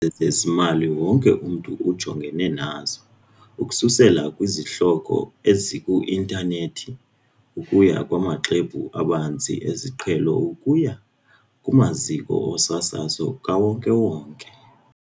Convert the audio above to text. ezezimali wonke umntu ujongene nazo, ukususela kwizihloko eziku-intanethi ukuya kumaxhwebhu abanzi esiqhelo ukuya kumaziko osasazo kawonke-wonke.